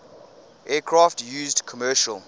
aircraft used commercial